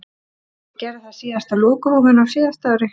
Ég gerði það síðast á lokahófinu á síðasta ári.